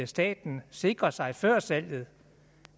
staten sikrede sig før salget